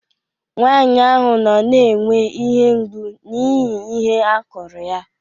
Nwanyị ahụ nọ na-enwe ihe mgbu n'ihi ihe a kụrụ ya